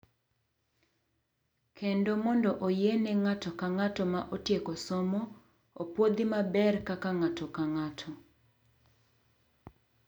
kendo mondo oyiene ng’ato ka ng’ato ma otieko somo opuodhi maber kaka ng’ato ka ng’ato..